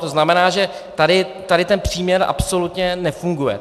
To znamená, že tady ten příměr absolutně nefunguje.